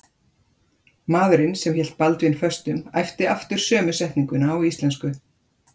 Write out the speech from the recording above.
Maðurinn sem hélt Baldvin föstum æpti aftur sömu setninguna á íslensku.